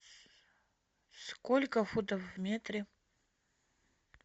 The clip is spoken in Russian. сколько футов в метре